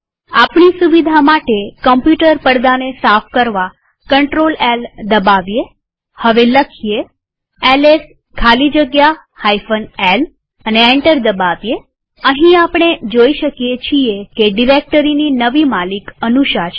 આપણી સુવિધા માટે કમ્પ્યુટર પડદાને સાફ કરવા CtrlL દબાવીએહવે લખીએ એલએસ ખાલી જગ્યા lએન્ટર દબાવીએઅહીં આપણે જોઈ શકીએ છીએ કે ડિરેક્ટરીની નવી માલિક અનુષા છે